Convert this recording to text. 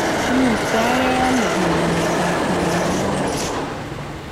Imuktagei ano kinya miondap Moyamoya.